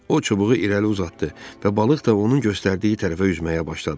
O çubuğu irəli uzatdı və balıq da onun göstərdiyi tərəfə üzməyə başladı.